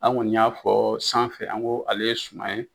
An kɔni y'a fɔ sanfɛ an ko ale ye suma in